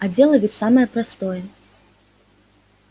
а дело ведь самое простое